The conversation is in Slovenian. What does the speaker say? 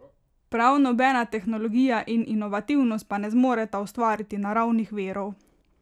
Prav nobena tehnologija in inovativnost pa ne zmoreta ustvariti naravnih virov.